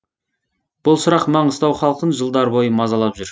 бұл сұрақ маңғыстау халқын жылдар бойы мазалап жүр